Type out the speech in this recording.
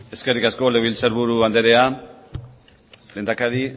eskerrik asko legebiltzar buru andrea lehendakari